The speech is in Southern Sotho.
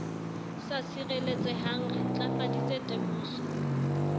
sa sireletsehang re ntlafaditse temoso